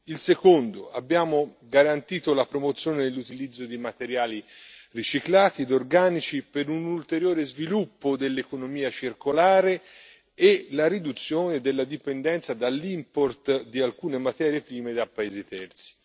Il secondo abbiamo garantito la promozione dell'utilizzo di materiali riciclati e organici per un ulteriore sviluppo dell'economia circolare e la riduzione della dipendenza dall' import di alcune materie prime da paesi terzi.